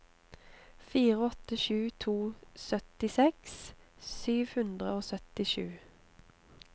fire åtte sju to syttiseks sju hundre og syttisju